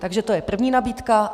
Takže to je první nabídka.